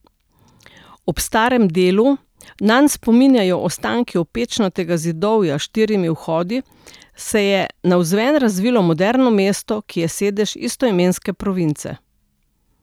Ob starem delu, nanj spominjajo ostanki opečnatega zidovja s štirimi vhodi, se je navzven razvilo moderno mesto, ki je sedež istoimenske province.